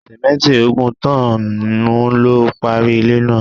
Sìmẹ́nti ogún tọ́n-ọ́n-nù lo parí ilé náà.